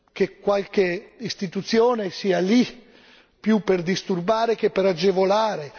che qualche istituzione sia lì più per disturbare che per agevolare.